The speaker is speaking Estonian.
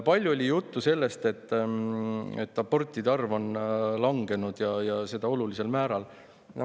Palju oli juttu sellest, et abortide arv on langenud, ja seda olulisel määral.